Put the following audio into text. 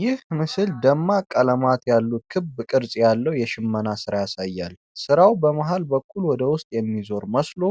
ይህ ምስል ደማቅ ቀለማት ያሉት ክብ ቅርጽ ያለው የሽመና ሥራ ያሳያል። ስራው በመሃል በኩል ወደ ውስጥ የሚዞር መስሎ